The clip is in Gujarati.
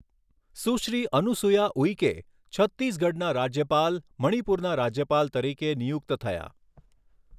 સુશ્રી અનુસુયા ઉઇકે, છત્તીસગઢના રાજ્યપાલ, મણિપુરના રાજ્યપાલ તરીકે નિયુક્ત થયાં.